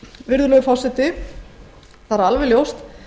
virðulegur forseti það er alveg ljóst